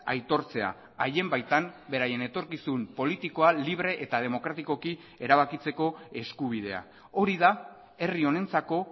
aitortzea haien baitan beraien etorkizun politikoa libre eta demokratikoki erabakitzeko eskubidea hori da herri honentzako